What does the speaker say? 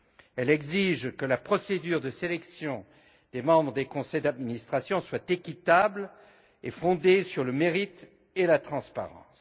Elle exige que la procédure de sélection des membres des conseils d'administration soit équitable et fondée sur le mérite et la transparence.